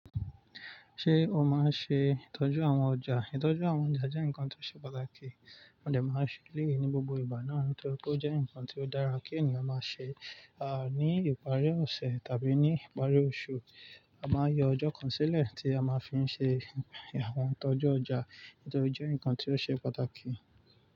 Ṣé o máa ṣe ìtọ́jú àwọn ọjà? Ìtọ́jú àwọn ọjà jẹ́ nǹkan tó ṣe pàtàkì, mo dẹ́ máa ṣèléyí ní gbogbo ìgbà náà nítorí pé ó jẹ́ nǹkan tó dára kí ènìyàn máa ṣe, à ní ìparí ọ̀sẹ̀ tàbí ní ìparí oṣù, a máa yọ ọjọ́ kan sílẹ̀ tí a máa fi ń ṣe àwọn ìtọ́jú ọjà nítorí ó jẹ́ nǹkan tó ṣe pàtàkì.